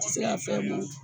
Ti se ka fɛn mun